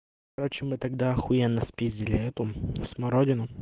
короче мы тогда ахуенно спиздили эту смородину